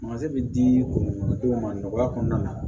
bɛ di dugudenw ma nɔgɔya kɔnɔna na